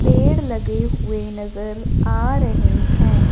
पेड़ लगे हुए नजर आ रहें हैं।